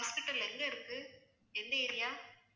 உங்க hospital எங்க இருக்கு எந்த area ஆ